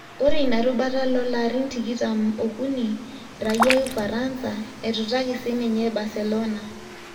Ore ina rubata lolarin tikitam okuni rayiaa e Ufaransa etutaki sininye Barcelona.